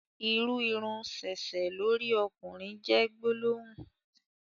ìrù Irun sẹsẹ lórí okùnrin jé gbólóhùn.